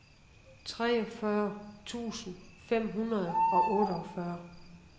treogfyrre tusind fem hundrede og otteogfyrre